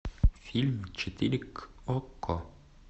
фильм четыре к окко